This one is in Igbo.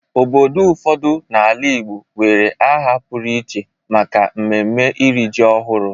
Obodo ụfọdụ n'ala Igbo nwere aha pụrụ iche maka mmemme iri ji ọhụrụ.